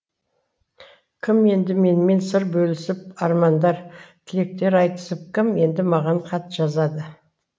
кім енді менімен сыр бөлісіп армандар тілектер айтысып кім енді маған хат жазады